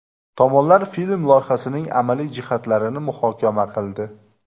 Tomonlar film loyihasining amaliy jihatlarini muhokama qildi.